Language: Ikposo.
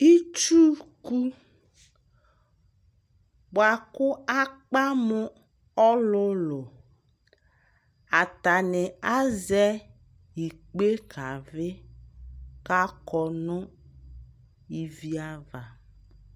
itsuku boa ko akpa mo ɔlulu atani azɛ ikpe kavi ko akɔ no ivi ava